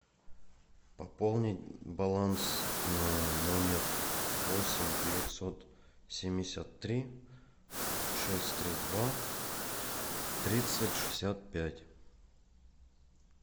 пополнить баланс на номер восемь девятьсот семьдесят три шесть три два тридцать шестьдесят пять